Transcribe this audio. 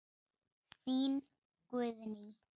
Þín, Guðný.